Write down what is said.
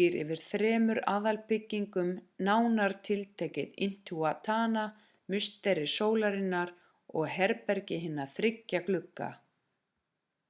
býr yfir þremur aðalbyggingum nánar tiltekið intihuatana musteri sólarinnar og herbergi hinna þriggja glugga